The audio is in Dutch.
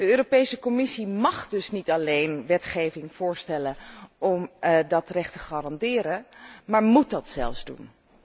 De Europese Commissie mág dus niet alleen wetgeving voorstellen om dat recht te garanderen, maar móet dat zelfs doen.